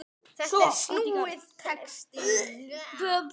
Þetta er snúinn texti.